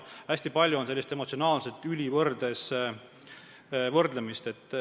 Hästi palju on kuulda emotsionaalset ülivõrdes kriitikat.